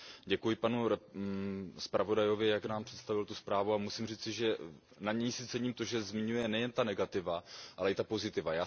Děkuji panu zpravodajovi, jak nám představil tuto zprávu, a musím říci, že na ní si cením to, že zmiňuje nejen ta negativa, ale i ta pozitiva.